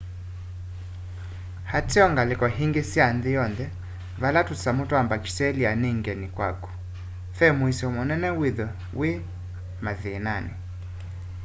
ateo ngaliko ingi sya nthi yonthe vala tusamu twa mbakitelia ni ngeni kwaku ve muisyo munene withwe wi mathinani